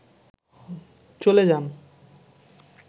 চলে যান